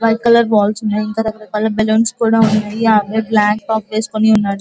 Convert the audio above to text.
White colour balls ఉన్నాయి ఇంకా రకరకాలు బెలూన్స్ కూడా ఉన్నాయి ఆ అబ్బాయి బ్లాక్ టాప్ వేసుకొని ఉన్నాడు.